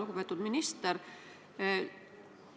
Lugupeetud minister!